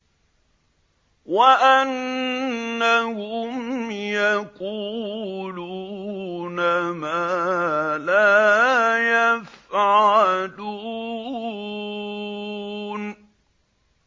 وَأَنَّهُمْ يَقُولُونَ مَا لَا يَفْعَلُونَ